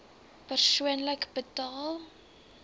persoonlik betaal